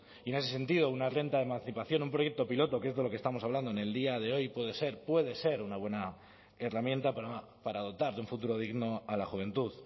y en ese sentido una renta de emancipación un proyecto piloto que es de lo que estamos hablando en el día de hoy puede ser puede ser una buena herramienta para dotar de un futuro digno a la juventud